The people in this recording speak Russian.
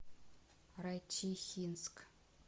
райчихинск